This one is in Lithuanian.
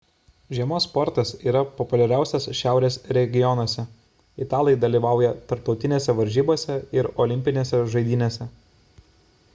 žiemos sportas yra populiariausias šiaurės regionuose – italai dalyvauja tarptautinėse varžybose ir olimpinėse žaidynėse